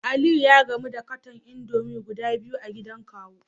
Aliyu ya gamu da katon indomie guda biyu a gidan kawu